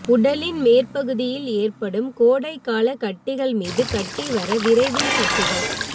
உடலின் மேற்பகுதியில் ஏற்படும் கோடைக்காலக் கட்டிகள் மீது கட்டி வர விரைவில் கட்டிகள்